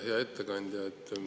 Hea ettekandja!